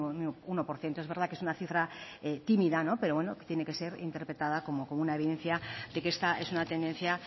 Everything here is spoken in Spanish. uno por ciento es verdad que es una cifra tímida pero bueno que tiene que ser interpretada como una evidencia de que esta es una tendencia